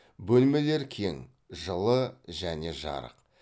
бөлмелер кең жылы және жарық